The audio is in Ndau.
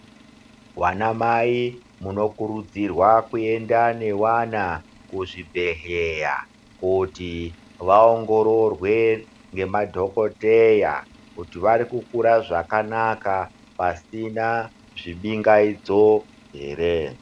Vanamai munokurudzirwa kuenda nevana kuzvibhedhleya kuti vaongororwe ngemadhokodheya kuti varikukura zvakanaka pasina zvibingaidzo ere.